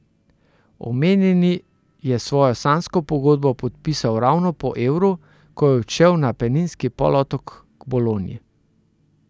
Omenjeni je svojo sanjsko pogodbo podpisal ravno po Evru, ko je odšel na Apeninski polotok k Bologni.